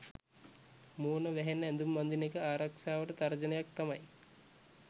මූණ වැහෙන්න ඇඳුම් අඳින එක ආරක්ෂාවට තර්ජනයක් තමයි